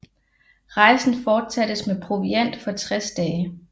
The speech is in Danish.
Rejsen fortsattes med proviant for 60 dage